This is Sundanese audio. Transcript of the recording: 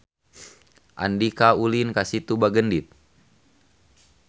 Andika ulin ka Situ Bagendit